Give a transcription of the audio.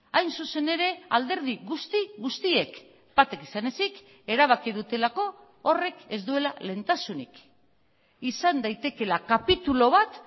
hain zuzen ere alderdi guzti guztiek batek izan ezik erabaki dutelako horrek ez duela lehentasunik izan daitekeela kapitulu bat